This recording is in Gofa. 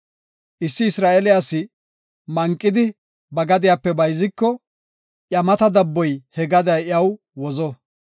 Issi Isra7eele asi manqidi ba gadiyape bayziko, iya mata dabboy he gadiya iyaw wozo.